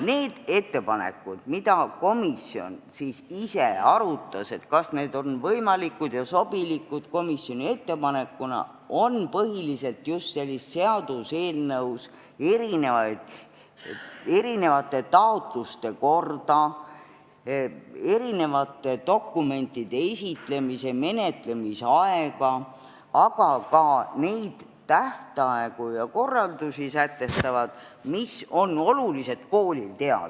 Need ettepanekud, mida komisjon ise arutas, et kas need on võimalikud ja sobilikud komisjoni ettepanekuna, sätestavad põhiliselt just erinevate taotluste korda, dokumentide esitamise ja menetlemise aega, aga ka neid tähtaegu ja korraldusi, mida koolil tuleb teada.